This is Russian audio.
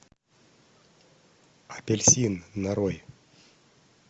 апельсин нарой